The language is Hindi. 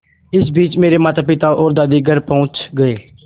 इसी बीच मेरे मातापिता और दादी घर पहुँच गए